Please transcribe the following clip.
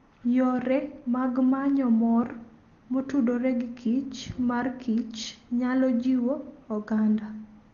Yore mag manyo mor motudore giKich marKich, nyalo jiwo oganda.